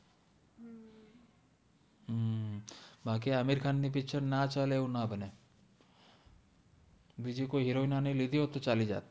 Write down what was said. હમ બાકી આમિર ખાન નિ પિચ્ચર ના ચાલે એવુ ના બન્ને બિજિ કોઇ હિરોઇને ને લિધિ હોત ને તો ચાલિ જતિ